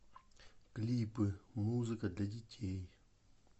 клипы музыка для детей